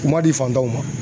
U man di fantanw ma.